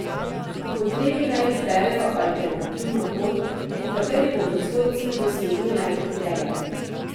Po potrebi naj izberejo alternativno pot, po kateri bodo svoj cilj dosegli najhitreje.